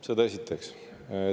Seda esiteks.